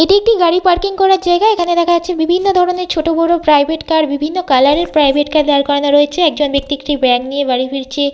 এটি একটি গাড়ি পার্কিং করার জায়গা। এখানে দেখা যাচ্ছে বিভিন্ন ধরনের ছোট বড় প্রাইভেট কার বিভিন্ন কালার -এর প্রাইভেট কার দাঁড় করানো রয়েছে একজন ব্যক্তি ব্যাগ নিয়ে বাড়ি ফিরছে।